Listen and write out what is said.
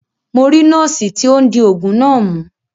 Mo ri noosi ti o n di oogun na mu.